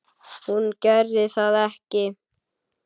Hún gerði það ekki.